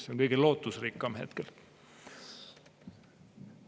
See on kõige lootusrikkam hetkel.